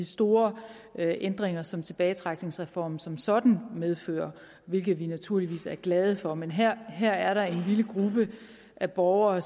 store ændringer som tilbagetrækningsreformen som sådan medfører hvilket vi naturligvis er glade for men her her er der en lille gruppe af borgere